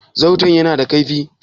Zarton ya na da kaifi?